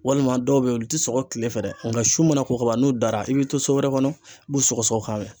Walima dɔw be yen olu ti sɔgɔ kile fɛ dɛ, nka su mana ko kaban n'u dara i bɛ to so wɛrɛ kɔnɔ i b'u sɔgɔsɔgɔ k'a mɛn.